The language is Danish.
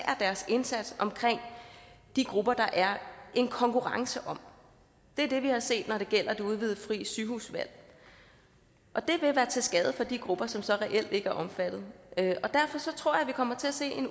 deres indsats omkring de grupper der er en konkurrence om det er det vi har set når det gælder det udvidede frie sygehusvalg det vil være til skade for de grupper som så reelt ikke er omfattet og derfor tror jeg vi kommer til at se